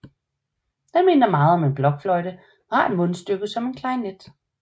Den minder meget om en blokfløjte men har et mundstykke som en klarinet